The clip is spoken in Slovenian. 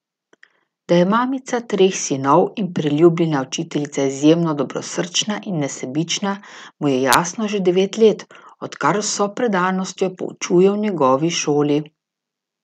Da je mamica treh sinov in priljubljena učiteljica izjemno dobrosrčna in nesebična, mu je jasno že devet let, odkar z vso predanostjo poučuje v njegovi šoli.